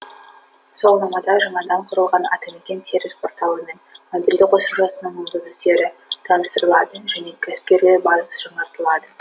сауалнамада жаңадан құрылған атамекен сервис порталы мен мобильді қосымшасының мүмкіндіктері таныстырылады және кәсіпкерлер базасы жаңартылады